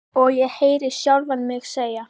Og ég heyri sjálfa mig segja: